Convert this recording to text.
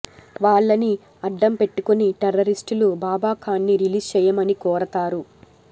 వాళ్ళని అడ్డం పెట్టుకొని టెర్రరిస్టులు బాబా ఖాన్ ని రిలీజ్ చేయమని కోరతారు